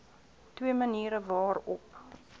twee maniere waarop